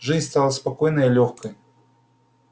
жизнь стала спокойной и лёгкой